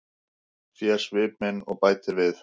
Sér svip minn og bætir við.